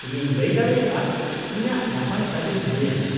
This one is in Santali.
-ᱤᱧᱤᱧ ᱞᱟᱹᱭ ᱫᱟᱲᱮᱭᱟᱜᱼᱟ ᱤᱧᱟᱹᱜ ᱱᱟᱯᱟᱭ ᱛᱟᱹᱞᱤᱢ ᱦᱩᱭ ᱟᱠᱟᱱᱟ ᱾